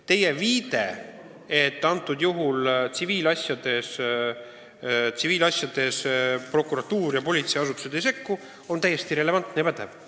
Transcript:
Teie viide, et üldiselt tsiviilasjade puhul prokuratuur ja politseiasutused ei sekku, on täiesti relevantne ja pädev.